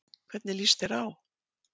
Hvernig líst þér á?